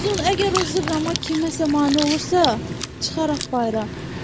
Uzun, əgər o zırrama kiməsə mane olursa, çıxart bayıra.